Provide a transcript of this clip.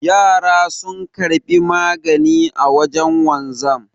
Yara sun karbi magani a wajen wanzan